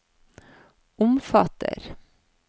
omfatter